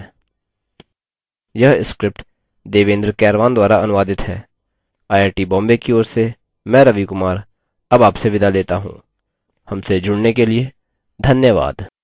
यह script देवेन्द्र कैरवान द्वारा अनुवादित है आई आई टी बॉम्बे की ओर से मैं रवि कुमार अब आपसे विदा लेता हूँ हमसे जुड़ने के लिए धन्यवाद